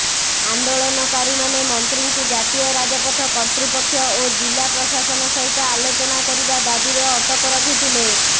ଆନ୍ଦୋଳନକାରୀମାନେ ମନ୍ତ୍ରୀଙ୍କୁ ଜାତୀୟ ରାଜପଥ କର୍ତ୍ତୃପକ୍ଷ ଓ ଜିଲା ପ୍ରଶାସନ ସହିତ ଆଲୋଚନା କରିବା ଦାବିରେ ଅଟକ ରଖିଥିଲେ